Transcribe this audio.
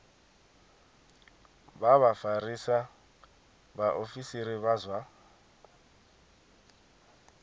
vha vhafarisa vhaofisiri vha zwa